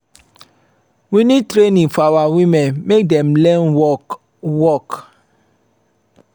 we need training for our women make dem learn work. work.